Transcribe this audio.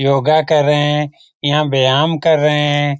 योगा कर रहे है यहाँ व्याम कर रहे है ।